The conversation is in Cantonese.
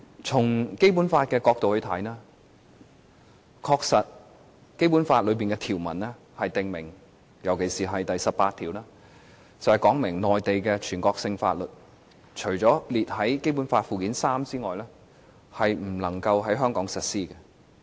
從《基本法》的角度來看，《基本法》的條文特別是第十八條訂明，全國性法律除列於《基本法》附件三外，不能在香港實施。